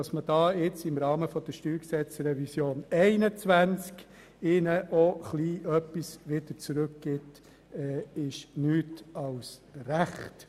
Dass man jetzt im Rahmen der StG-Revision 2021 den natürlichen Personen etwas zurückgibt, ist nichts als recht.